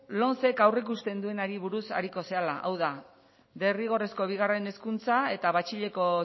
lomce aurreikusten duenari buruz ariko zarela hau da derrigorrezko bigarren hezkuntzan eta batxilergoko